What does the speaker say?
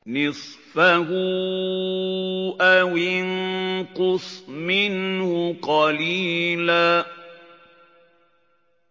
نِّصْفَهُ أَوِ انقُصْ مِنْهُ قَلِيلًا